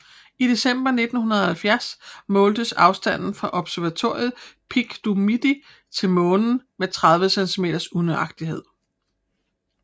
I december 1970 måltes afstanden fra observatoriet Pic du Midi til Månen med 30 cm unøjagtighed